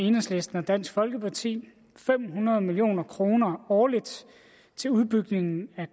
enhedslisten og dansk folkeparti fem hundrede million kroner årligt til udbygning af